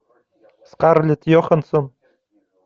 скарлетт йоханссон